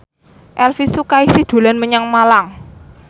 Elvy Sukaesih dolan menyang Malang